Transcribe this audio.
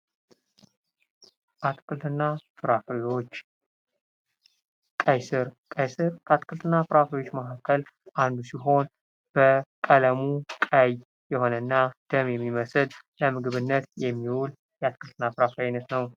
አትክልትና ፍራፍሬዎች ቀይ ስር ቀይ ስር ከአትክልትና ፍራፍሬዎች መካከል አንዱ ሲሆን በቀለሙ ቀይ የሆነና ደም የሚመስል ለምግብነት የሚውል የአትክልትና ፍራፍሬ አይነት ነው።